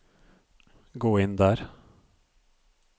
gå inn der